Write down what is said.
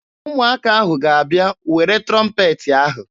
Ụmụaka ahụ ga-abịa were trọmpeetị ahụ.